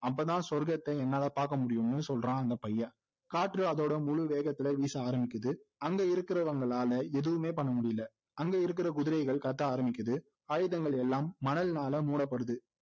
அப்போதான் சொர்கத்தை என்னால பாக்க முடியும்னு சொல்றான் அந்த பையன் காற்று அதோட முழு வேகத்துல வீச ஆரம்பிக்குது அங்க இருக்குறவங்களால எதுவுமே பண்ண முடியல அங்க இருக்குற குதிரைகள் கத்த ஆரம்பிக்குது ஆயதங்கள் எல்லாம் மணலினால மூடப்படுது